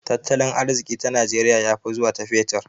Tartalin arziki ta najeriya ya fi zuwa ta fetur